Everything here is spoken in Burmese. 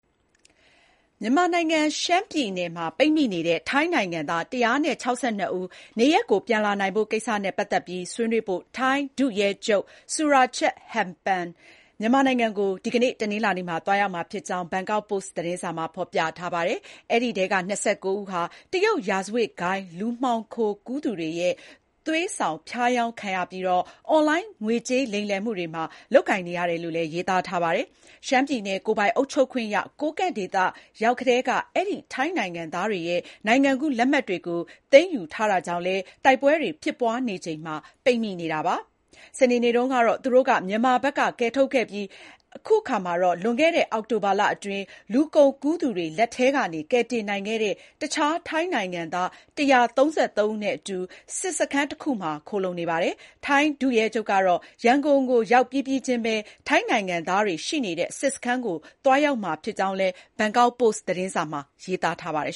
မြန်မာနိုင်ငံ ရှမ်းပြည်နယ်မှာ ပိတ်မိနေတဲ့ ထိုင်း နိုင်ငံသား ၁၆၂ ဦး၊ နေရပ်ကို ပြန်လာနိုင်ဖို့ကိစ္စနဲ့ ပတ်သတ်ပြီး ဆွေးနွေးဖို့ ထိုင်း ဒုရဲချုပ် Surachate Hakparn မြန်မာနိုင်ငံကို ဒီကနေ့ တနင်္လာနေ့မှာ သွားရောက်မှာဖြစ်ကြောင်း ဘန်ကောက်ပို့စ် သတင်းစာမှာ ဖော်ပြထားပါတယ်။ အဲဒီထဲက ၂၉ ဦးဟာ တရုတ်ရာဇဝတ်ဂိုဏ်း လူမှောင်ခိုကူးသူတွေရဲ့ သွေးဆောင်ဖျားယောင်းခံရပြီး အွန်လိုင်း ငွေကြေးလိမ်လည်မှုတွေမှာ လုပ်ကိုင်နေရတယ်လို့လည်း ရေးသားထားပါတယ်။ ရှမ်းပြည်နယ်၊ ကိုယ်ပိုင်အုပ်ချုပ်ခွင့်ရ ကိုးကန့်ဒေသရောက်ကတည်းက၊ အဲဒီထိုင်းနိုင်ငံသားတွေရဲ့ နိုင်ငံကူးလက်မှတ်တွေကို သိမ်းယူထားတာကြောင့်လည်း တိုက်ပွဲတွေ ဖြစ်ပွါးချိန်မှာ ပိတ်မိနေတာပါ။ စနေနေ့တုန်းကတော့ သူတို့ကို မြန်မာဘက်က ကယ်ထုတ်ခဲ့ပြီး အခုအခါမှာတော့ လွန်ခဲ့တဲ့ အောက်တိုဘာလအတွင်း လူကုန်ကူးသူတွေလက်ထဲကနေ ကယ်တင်နိုင်ခဲ့တဲ့ တခြားထိုင်းနိုင်ငံသား ၁၃၃ ဦးနဲ့အတူ စစ်စခန်းတခုမှာ ခိုလှုံနေပါတယ်။ ထိုင်းဒုရဲချုပ်ကတော့ ရန်ကုန်ကို ရောက်ပြီးပြီးချင်းပဲ ထိုင်းနိုင်ငံသားတွေ ရှိနေတဲ့ စစ်စခန်းကို သွားရောက်မှာဖြစ်ကြောင်းလည်း ဘန်ကောက်ပို့စ်သတင်းစာမှာရေးသားထားပါတယ်